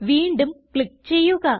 വീണ്ടും ക്ലിക്ക് ചെയ്യുക